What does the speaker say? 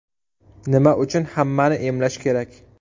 Nima uchun hammani emlash kerak?